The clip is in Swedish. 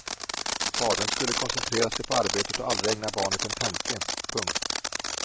Fadern skulle koncentrera sig på arbetet och aldrig ägna barnet en tanke. punkt